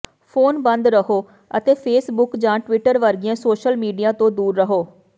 phone ਬੰਦ ਰਹੋ ਅਤੇ ਫੇਸਬੁੱਕ ਜਾਂ ਟਵਿੱਟਰ ਵਰਗੀਆਂ ਸੋਸ਼ਲ ਮੀਡੀਆ ਤੋਂ ਦੂਰ ਰਹੋ